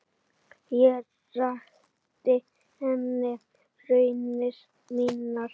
Ég rakti henni raunir mínar.